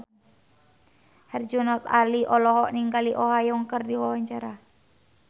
Herjunot Ali olohok ningali Oh Ha Young keur diwawancara